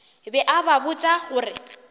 be a ba botša gore